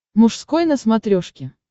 мужской на смотрешке